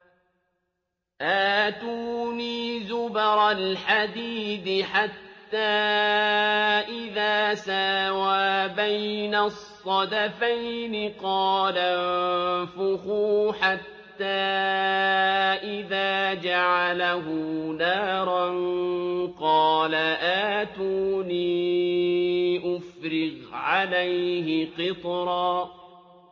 آتُونِي زُبَرَ الْحَدِيدِ ۖ حَتَّىٰ إِذَا سَاوَىٰ بَيْنَ الصَّدَفَيْنِ قَالَ انفُخُوا ۖ حَتَّىٰ إِذَا جَعَلَهُ نَارًا قَالَ آتُونِي أُفْرِغْ عَلَيْهِ قِطْرًا